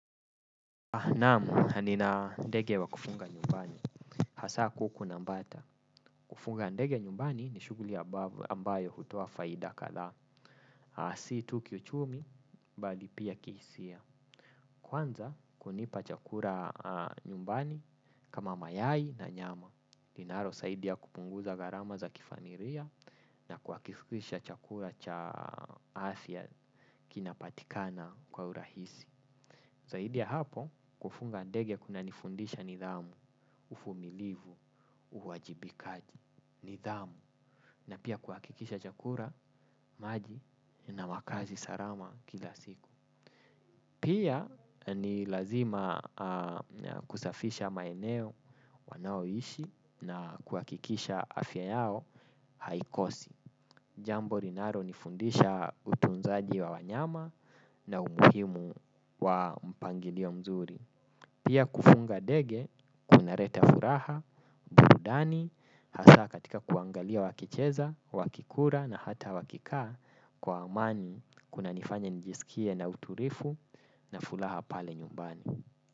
Naam, nina ndege wa kufunga nyumbani. Hasa kuku na bata. Kufunga ndege nyumbani ni shuguli ambayo hutoa faida kadhaa. Si tu kiuchumi, bali pia ki hisia. Kwanza, kunipa chakula nyumbani kama mayai na nyama. Linalo, saidia kupunguza gharama za kifamilia na kuhakikisha chakula cha afya kinapatikana kwa urahisi. Zaidi ya hapo kufunga ndege kuna nifundisha nidhamu, uvumilivu, uwajibikaji, nidhamu, na pia kuhakikisha chakula, maji, na makazi salama kila siku. Pia ni lazima kusafisha maeneo wanaoishi na kuhakikisha afya yao haikosi. Jambo linalo nifundisha utunzaji wa wanyama na umuhimu wa mpangilio mzuri. Pia kufunga ndege, kunaleta furaha, burudani, hasa katika kuangalia wakicheza, wakikula na hata wakikaa kwa amani kunanifanya nijisikie na utulivu na fulaha pale nyumbani.